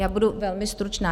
Já budu velmi stručná.